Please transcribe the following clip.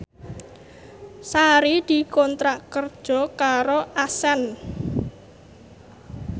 Sari dikontrak kerja karo Accent